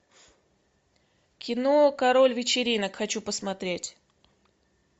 кино король вечеринок хочу посмотреть